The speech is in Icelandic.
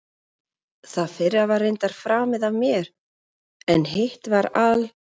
Það fyrra var reyndar framið af mér, en hitt var al